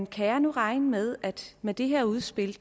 kan jeg nu regne med at med det her udspil